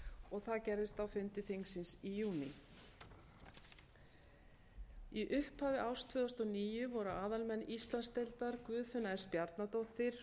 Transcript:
og það gerðist á fundi þingsins í júní í upphafi árs tvö þúsund og níu voru aðalmenn íslandsdeildar guðfinna s bjarnadóttir